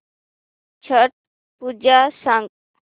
छट पूजा सांग